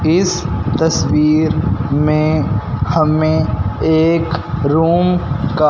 इस तस्वीर में हमें एक रूम का--